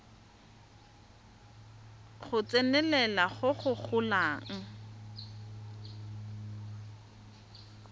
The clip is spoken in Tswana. go tsenelela go go golang